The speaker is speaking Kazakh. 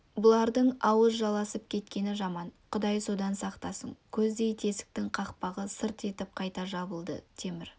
бұлардың ауыз жаласып кеткені жаман құдай содан сақтасын көздей тесіктің қақпағы сырт етіп қайта жабылды темір